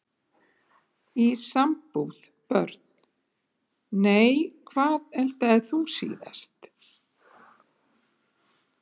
Í sambúð Börn: Nei Hvað eldaðir þú síðast?